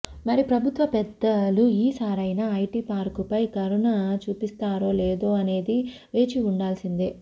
మరి ప్రభుత్వ పెద్దలు ఈ సారైన ఐటి పార్కుపై కరుణ చూపిస్తారో లేదా అనేది వేచి చూడాల్సిందే